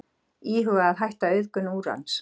Íhuga að hætta auðgun úrans